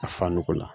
A fa nɔgɔ la